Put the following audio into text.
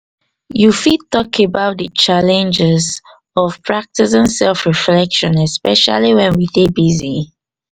You fit tak about the challenges of practicing self reflection especially wen we dey busy